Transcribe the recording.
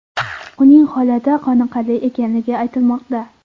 Uning holati qoniqarli ekanligi aytilmoqda.